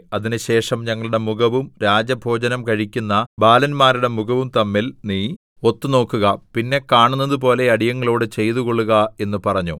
അതിനുശേഷം ഞങ്ങളുടെ മുഖവും രാജഭോജനം കഴിക്കുന്ന ബാലന്മാരുടെ മുഖവും തമ്മിൽ നീ ഒത്തു നോക്കുക പിന്നെ കാണുന്നതുപോലെ അടിയങ്ങളോട് ചെയ്തുകൊള്ളുക എന്നു പറഞ്ഞു